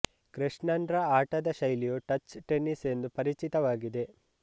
ಕೃಷ್ಣನ್ ರ ಆಟದ ಶೈಲಿಯು ಟಚ್ ಟೆನ್ನಿಸ್ ಎಂದು ಪರಿಚಿತವಾಗಿದೆ